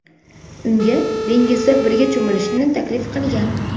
unga dengizda birga cho‘milishni taklif qilgan.